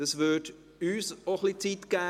Dies würde uns ein bisschen Zeit geben.